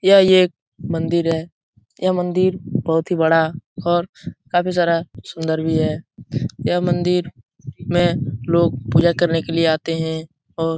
यह ये मंदिर है यह मंदिर बहुत ही बड़ा और काफी सारा सुन्दर भी है यह मंदिर में लोग पूजा करने के लिए आते है और --